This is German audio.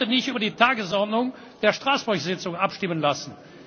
Ich kann heute nicht über die Tagesordnung der Straßburg Tagung abstimmen lassen.